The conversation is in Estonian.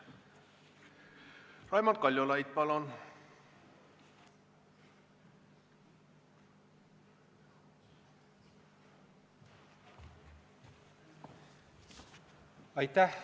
Raimond Kaljulaid, palun!